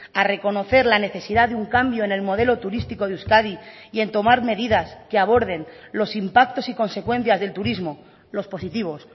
a reconocer la necesidad de un cambio en el modelo turístico de euskadi y en tomar medidas que aborden los impactos y consecuencias del turismo los positivos